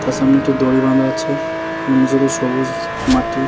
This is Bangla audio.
তার সামনে একটু দড়ি বাঁধা আছে এবং নিচেতে সবুজ মাটি।